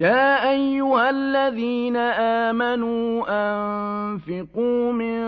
يَا أَيُّهَا الَّذِينَ آمَنُوا أَنفِقُوا مِن